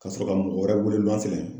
Ka sɔrɔ ka mɔgɔ wɛrɛ wele luwanze la ye.